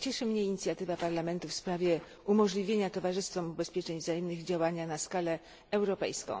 Cieszy mnie inicjatywa Parlamentu w sprawie umożliwienia towarzystwom ubezpieczeń wzajemnych działania na skalę europejską.